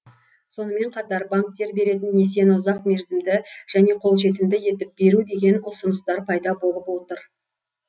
сонымен қатар банктер беретін несиені ұзақ мерзімді және қолжетімді етіп беру деген ұсыныстар пайда болып отыр